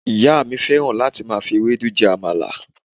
ìyá mi fẹràn láti ma fi Ewédú jẹ àmàlà